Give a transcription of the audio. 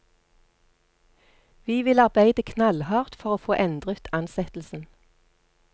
Vi vil arbeide knallhardt for å få endret ansettelsen.